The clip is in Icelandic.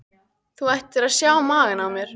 Þú ættir að sjá magann á mér.